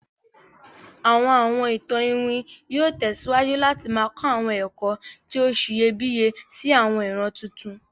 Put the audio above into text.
Àwọn Awọn ìtàn iwin yóò tẹ̀síwájú láti ma kọ àwọn ẹ̀kọ́ ti o siyẹbíyẹ si àwọn ìran tuntun.